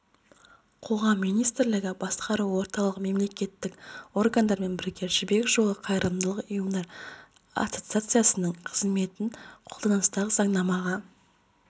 қоғам министрлігі басқа орталық мемлекеттік органдармен бірге жібек жолы қайырымдылық ұйымдар ассоциациясының қызметін қолданыстағы заңнамаға